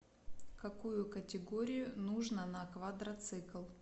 какую категорию нужно на квадроцикл